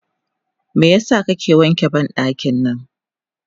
Meyasa kake wanke bandaki nan?